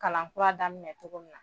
Kalan kura daminɛ cogo min na